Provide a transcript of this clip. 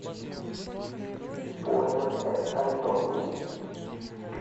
пуэнте альто